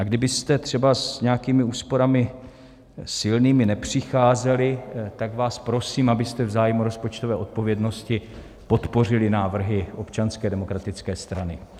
A kdybyste třeba s nějakými úsporami silnými nepřicházeli, tak vás prosím, abyste v zájmu rozpočtové odpovědnosti podpořili návrhy Občanské demokratické strany.